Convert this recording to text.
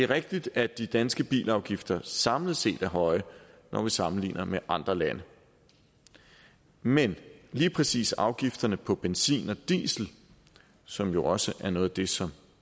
rigtigt at de danske bilafgifter samlet set er høje når vi sammenligner med andre lande men lige præcis afgifterne på benzin og diesel som jo også er noget af det som